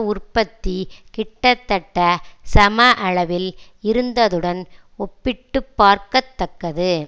உற்பத்தி கிட்டத்தட்ட சம அளவில் இருந்ததுடன் ஒப்பிட்டு பார்க்கத்தக்கது